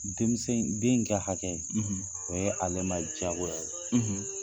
Denmisɛn in den ka hakɛ o ye ale ma diyago ye,